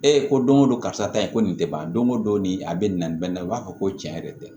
Ee ko don o don karisa ta ye ko nin tɛ ban don o don nin a bɛ nin na nin bɛ nin na i b'a fɔ ko tiɲɛ yɛrɛ tɛ